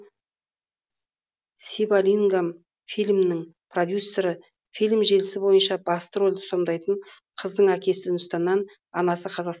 сивалингам фильмнің продюсері фильм желісі бойынша басты рөлді сомдайтын қыздың әкесі үндістаннан анасы қазақ